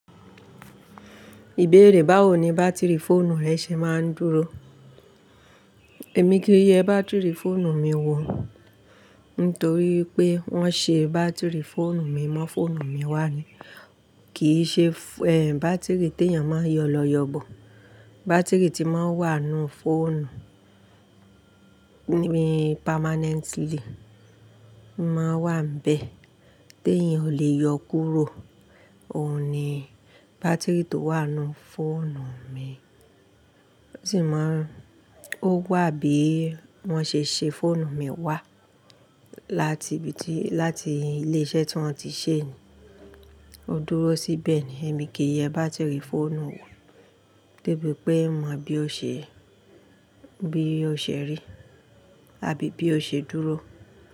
Ìbéèrè báwo ni bátìrì fóònù rẹ ṣe máa ń dúró? Èmi kì í ye bátìrì fóònù mi wò, nítorí pé wọ́n ṣe bátìrì fóònù mi mọ́ fóònù mi wà ni. Kì í ṣe, ẹ, bátìrì tí èèyàn máa ń yọ lọ yọ bọ̀. Bátìrì tí máa ń wà nínú fóònù ni permanently. Mò ń wà nbẹ̀ tí èèyàn ò lè yọ kúrò. Ohun ni bátìrì tó wà nínú fóònù mi. Ó sì máa ń-- ó wà bí wọ́n ṣe ṣe fóònù mi wà láti ibi tí-- láti ilé iṣẹ́ tí wọ́n ti ṣe ni. Ó dúró síbẹ̀ ni. Èmi kì í ye bátìrì fóònù wò, gẹ́gẹ́ bí pé mo mọ bí ó ṣe-- bí ó ṣe rí àbí bí ó ṣe dúró.